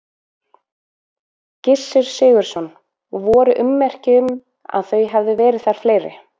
Gissur Sigurðsson: Og voru ummerki um að þau hefðu verið þar fleiri?